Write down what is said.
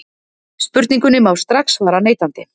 Spurningunni má strax svara neitandi.